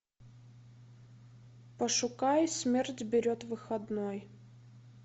пошукай смерть берет выходной